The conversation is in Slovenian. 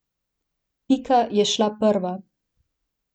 Pika je šla prva.